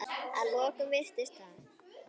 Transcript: Að lokum virðist